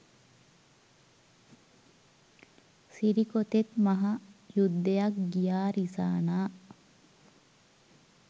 සිරිකොතෙත් මහ යුද්ධයක් ගියා රිසානා.